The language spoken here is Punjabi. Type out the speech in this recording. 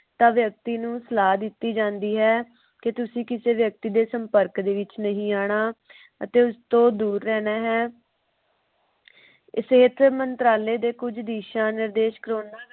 ਤਾ ਵਿਅਕਤੀ ਨੂੰ ਸਲਾਹ ਦਿਤੀ ਜਾਂਦੀ ਹੈ। ਕੇ ਤੁਸੀ ਕਿਸੇ ਵਿਅਕਤੀ ਦੇ ਸੰਪਰਕ ਦੇ ਵਿਚ ਨਹੀਂ ਆਉਣਾ ਅਤੇ ਉਸ ਤੋਂ ਦੂਰ ਰਹਿਣਾ ਹੈ। ਇਥੇ ਇਸੇ ਮੰਤਰਾਲੇ ਦੇ ਕੁਜ ਦਿਸ਼ਾ ਨਿਰਦੇਸ਼ਕ